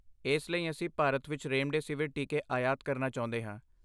ਇਸ ਲਈ, ਅਸੀਂ ਭਾਰਤ ਵਿੱਚ ਰੇਮਡੇਸੀਵਿਰ ਟੀਕੇ ਆਯਾਤ ਕਰਨਾ ਚਾਹੁੰਦੇ ਹਾਂ।